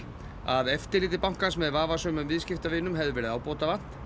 að eftirliti bankans með vafasömum viðskiptavinum hefði verið ábótavant